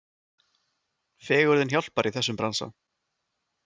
Fegurðin hjálpar í þessum bransa.